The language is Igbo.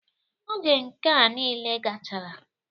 Oge nkea nile gachara,